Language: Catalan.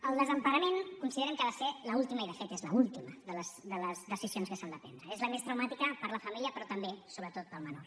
el desemparament considerem que ha de ser l’última i de fet és l’última de les decisions que s’han de prendre és la més traumàtica per a la família però també sobretot per al menor